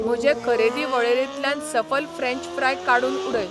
म्हजे खरेदी वळेरेंतल्यान सफल फ्रेंच फ्राय काडून उडय.